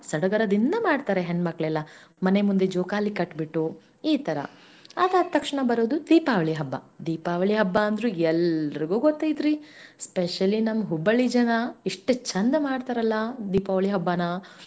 ಸಡಗರದಿಂದ ಮಾಡ್ತಾರೆ ಮನೆ ಮಂದಿಯೆಲ್ಲಾ ಜೋಕಾಲೀ ಕಟ್ಟಿಬಿಟ್ಟು ಈ ತರಾ ಆದ ಅದ ತಕ್ಷಣ ಬರೋದು ದೀಪಾವಳಿ ಹಬ್ಬಾ, ಅಂದ್ರ ಎಲ್ಲರಿಗು ಗೊತ್ತ ಐತೀರಿ specially ನಮ್ಮ Hubballi ಜನಾ ಇಷ್ಟ ಚಂದ ಮಾಡ್ತಾರಲ್ಲಾ ದೀಪಾವಳಿ ಹಬ್ಬಾನಾ.